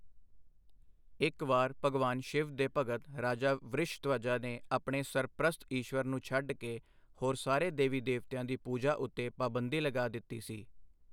ਇੱਕ ਵਾਰ, ਭਗਵਾਨ ਸ਼ਿਵ ਦੇ ਭਗਤ ਰਾਜਾ ਵ੍ਰਿਸ਼ਧਵਜਾ ਨੇ ਆਪਣੇ ਸਰਪ੍ਰਸਤ ਈਸ਼ਵਰ ਨੂੰ ਛੱਡ ਕੇ ਹੋਰ ਸਾਰੇ ਦੇਵੀ ਦੇਵਤਿਆਂ ਦੀ ਪੂਜਾ ਉੱਤੇ ਪਾਬੰਦੀ ਲਗਾ ਦਿੱਤੀ ਸੀ।